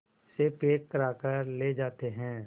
से पैक कराकर ले जाते हैं